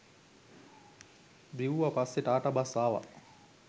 දිව්වා පස්සේ ටාටා බස් ආවා